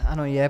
Ano, je.